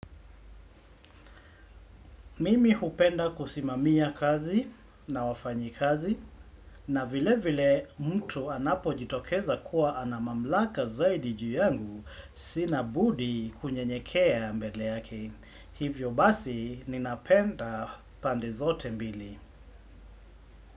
Mimi hupenda kusimamia kazi na wafanyi kazi na vile vile mtu anapo jitokeza kuwa ana mamlaka zaidi juu yangu sina budi kunyenyekea mbele yake. Hivyo basi ninapenda pande zote mbili.